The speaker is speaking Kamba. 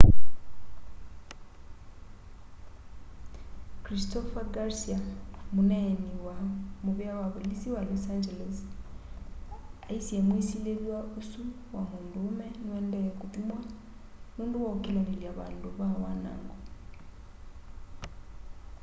christopher garcia muneeni wa muvea wa volisi wa los angeles aisye mwisililw'a usu wa munduume niuendee kuthuimwa nundu wa ukilanilya vandu va wanango